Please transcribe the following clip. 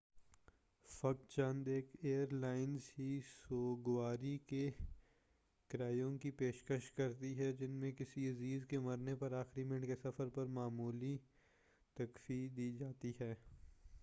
فقط چند ایک ایر لائنیں ہی سوگواری کے کرایوں کی پیشکش کرتی ہیں جن میں کسی عزیز کے مرنے پر آخری منٹ کے سفر پر معمولی تخفیف دی جاتی ہے